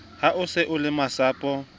ha o se o lemasapo